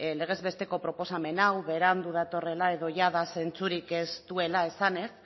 legez besteko proposamen hau berandu datorrela edo jada zentzurik ez duela esanez